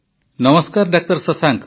ନମସ୍କାର ଡା ଶଶାଙ୍କ